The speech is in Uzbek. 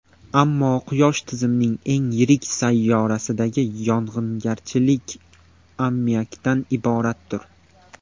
Ammo Quyosh tizimining eng yirik sayyorasidagi yog‘ingarchilik ammiakdan iboratdir.